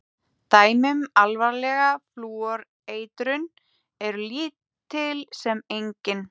Dæmi um alvarlega flúoreitrun eru lítil sem engin.